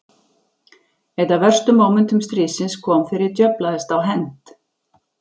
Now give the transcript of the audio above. Eitt af verstu mómentum stríðsins kom þegar ég djöflaðist á hend